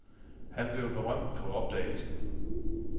Han blev berømt på opdagelsen.